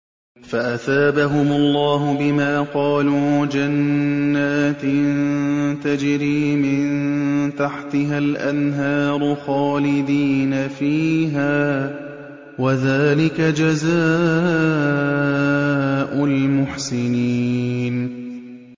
فَأَثَابَهُمُ اللَّهُ بِمَا قَالُوا جَنَّاتٍ تَجْرِي مِن تَحْتِهَا الْأَنْهَارُ خَالِدِينَ فِيهَا ۚ وَذَٰلِكَ جَزَاءُ الْمُحْسِنِينَ